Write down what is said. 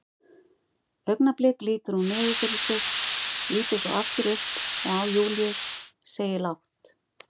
Augnablik lítur hún niður fyrir sig, lítur svo aftur upp og á Júlíu, segir lágt